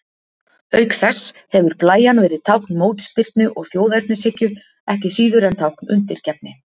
Auk þess hefur blæjan verið tákn mótspyrnu og þjóðernishyggju, ekki síður en tákn undirgefni.